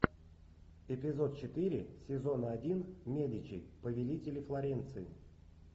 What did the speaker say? эпизод четыре сезона один медичи повелители флоренции